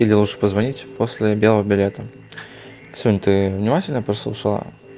или лучше позвонить после белого билета кисунь ты внимательно послушала